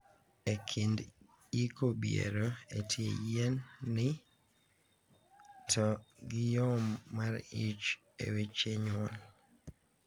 Ekind iko biero e tie yien ni to gi yom mar ich e weche nyuol.